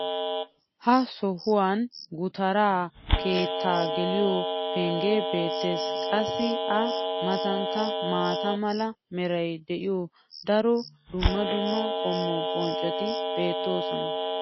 ha sohuwan gutaraa keettaa geliyo pengee beetees. qassi a matankka maata mala meray de'iyo daro dumma dumma qommo bonccoti beetoosona.